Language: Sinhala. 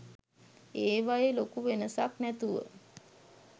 ඒවයෙ ලොකු වෙනසක් නැතුව